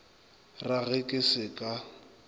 ra ge ke se ka